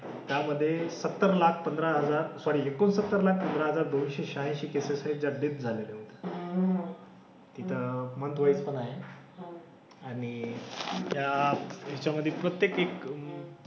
त्यामधे सत्तर लाख पंधरा हजार सॉरी एकोणसत्तर लाख पंधरा हजार दोनशे शहाऐंशी केसेस आहेत ज्या डेथ झालेल्या आहेत. तिथं मंथवाईज पण आहे. आणि त्या ह्याच्यामधे प्रत्येक एक,